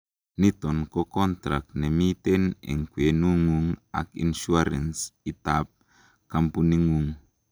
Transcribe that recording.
niton ko contract nemiten en kwenengung ak insurance itab campuningung